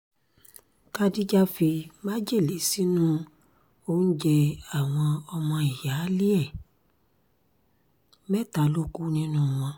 khadíjà fi májèlé sínú oúnjẹ àwọn ọmọ ìyáálé ẹ̀ mẹ́ta ló kù nínú wọn